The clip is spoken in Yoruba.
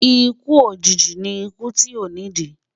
ikú òjìji ní ikú tí o ni di